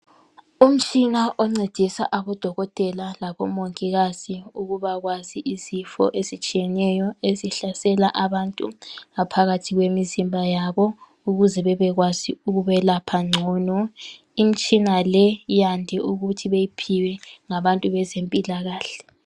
Umtshina oncedisa odokotela labomongikazi ukwazi izifo ezihlasela abantu phakathi kwemizimba yabo ukuze bebekwazi ukwelapha ngcono, imitshina le yande ukuthi beyiphiwe ngabantu bezempila kahle.